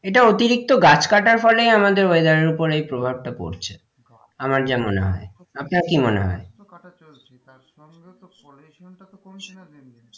এটা অতিরিক্তি গাছ কাটার ফলে আমাদের weather এর উপর এই প্রভাবটা পড়ছে আমার যা মনে হয় আপনার কি মনে হয়? গাছ তো কাটা চলছে তার সঙ্গেও তো pollution টা তো কমছে না দিন দিন,